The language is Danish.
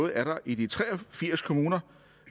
er der i de tre og firs kommuner